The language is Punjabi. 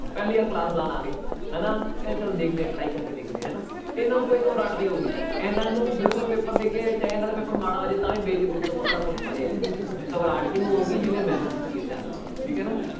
ਪਹਿਲੀ ਵਾਰ class ਲਗਾਉਣ ਆ ਗਏ ਹਨਾ ਚੱਲ ਦੇਖਦੇ ਹਾਂ try ਕਰਕੇ ਦੇਖਦੇ ਹਾਂ ਹਨਾ, ਇਹਨਾਂ ਨੂੰ ਕੋਈ ਘਬਰਾਹਟ ਨੀ ਹੋਊਗੀ ਇਹਨਾਂ ਨੂੰ ਬਿਲਕੁਲ paper ਦੇ ਕੇ ਚਾਹੇ ਇਹਨਾਂ ਦਾ paper ਮਾੜਾ ਹੋ ਜਾਏ ਤਾਂ ਵੀ ਬੇਝਿਜਕ ਹੀ ਆਪਾਂ ਕਿਹੜੇ ਕੁਛ ਪੜ੍ਹੇ ਹੈ ਘਬਰਾਹਟ ਕਿਹਨੂੰ ਹੋਊਗੀ ਜਿਹਨੇ ਮਿਹਨਤ ਕੀਤੀ ਹੈ ਧਿਆਨ ਰੱਖਿਓ ਠੀਕ ਹੈ ਨਾ